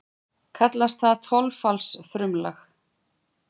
Kallast það þolfallsfrumlag.